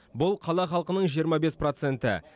бұл қала халқының жиырма бес проценті